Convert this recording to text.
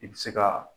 I bɛ se ka